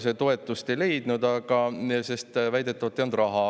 See toetust ei leidnud, sest väidetavalt ei ole raha.